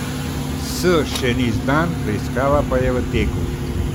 S, še ni znan, preiskava pa je v teku.